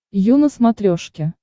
ю на смотрешке